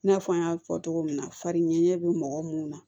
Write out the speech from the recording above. I n'a fɔ an y'a fɔ cogo min na fari ɲɛ bɛ mɔgɔ mun na